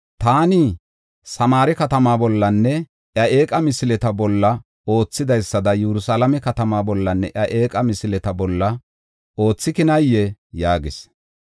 Taani Samaare katamaa bollanne iya eeqa misileta bolla oothidaysada Yerusalaame katamaa bollanne iya eeqa misileta bolla oothikinaayee?” yaagis.